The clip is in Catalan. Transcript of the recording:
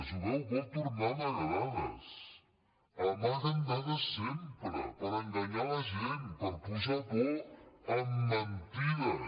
veu vol tornar a amagar dades amaguen dades sempre per enganyar la gent per posar por amb mentides